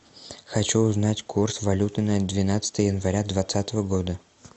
хочу узнать курс валюты на двенадцатое января двадцатого года